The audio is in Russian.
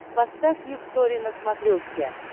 поставь люксори на смотрешке